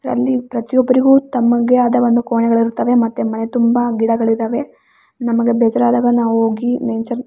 ಇದ್ರಲ್ಲಿ ಪ್ರತಿಯೊಬ್ರಿಗೂ ತಮಗೇ ಆದ ಒಂದು ಕೋಣೆಗಳಿರ್ತವೆ ಮತೆ ಮನೆ ತುಂಬಾ ಗಿಡಗಳಿದಾವೆ. ನಮಗೆ ಬೇಜರಾದಾಗ ನಾವು ಹೋಗಿ ನೇಚರ್ --